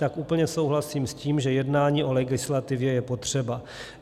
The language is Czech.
Tak úplně souhlasím s tím, že jednání o legislativě je potřeba.